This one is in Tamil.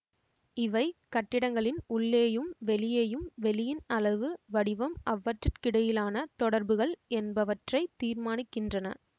இவை கட்டிடங்களின் உள்ளேயும் வெளியேயும் வெளியின் அளவு வடிவம் அவற்றுக்கிடையிலான தொடர்புகள் என்பவற்றைத் தீர்மானிக்கின்றன